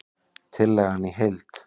Tillagan í heild